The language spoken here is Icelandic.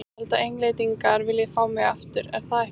Ég held að Englendingar vilji fá mig aftur, er það ekki?